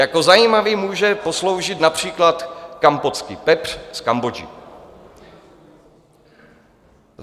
Jako zajímavý může posloužit například Kampotský pepř z Kambodži.